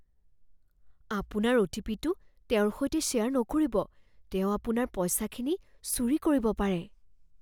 আপোনাৰ অ'.টি.পি.'টো তেওঁৰ সৈতে শ্বেয়াৰ নকৰিব। তেওঁ আপোনাৰ পইচাখিনি চুৰি কৰিব পাৰে।